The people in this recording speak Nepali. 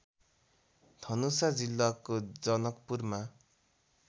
धनुषा जिल्लाको जनकपुरमा